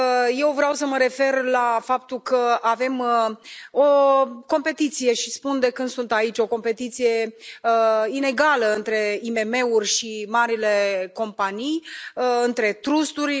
Eu vreau să mă refer la faptul că avem o competiție și spun de când sunt aici o competiție inegală între IMM uri și marile companii, între trusturi.